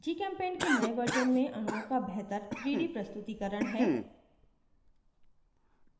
gchempaint के नए version में अणुओं का बेहतर 3d प्रस्तुतीकरण है